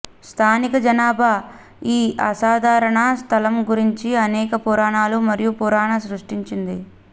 స్థానిక జనాభా ఈ అసాధారణ స్థలం గురించి అనేక పురాణాలు మరియు పురాణ సృష్టించింది